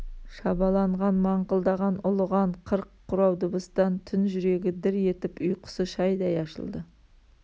шабаланған маңқылдаған ұлыған қырық құрау дыбыстан түн жүрегі дір етіп ұйқысы шайдай ашылды